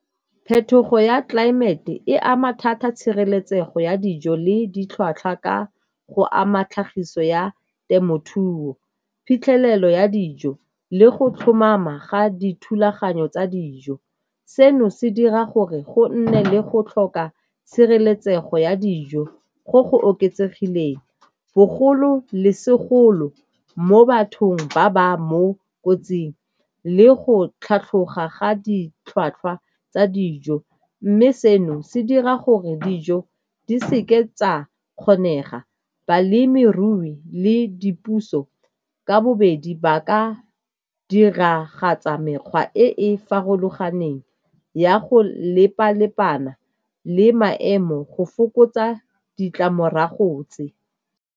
Phetogo ya tlelaemete e ama thata tshireletsego ya dijo le ditlhwatlhwa ka go ama tlhagiso ya temothuo, phitlhelelo ya dijo le go tlhomama ga dithulaganyo tsa dijo. Seno se dira gore go nne le go tlhoka tshireletsego ya dijo go go oketsegileng, bogolo le segolo mo bathong ba ba mo kotsing le go tlhatlhoga ga ditlhwatlhwa tsa dijo. Mme seno se dira gore dijo di seke tsa kgonega. Balemirui le dipuso ka bobedi ba ka diragatsa mekgwa e e farologaneng ya go lepa-lepana le maemo go fokotsa ditlamorago tse.